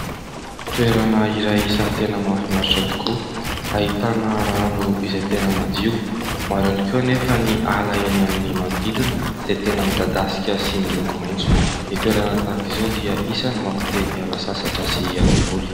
Toerana iray isany tena mafinaritra tokoa. Ahitana rano izay tena madio. Maro ihany koa anefa ny ala eny amin'ny manodidina izay tena midadasika sy miloko maintso. Ny toerana tahaka izao dia isany mampi-te hiala sasatra sy hiala voly.